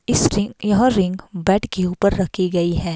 इस रिंग यह रिंग बद के ऊपर रखी गई है।